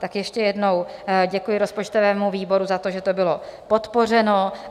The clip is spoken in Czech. Tak ještě jednou děkuji rozpočtovému výboru za to, že to bylo podpořeno.